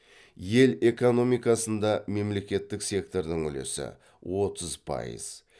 ел экономикасында мемлекеттік сектордың үлесі отыз пайыз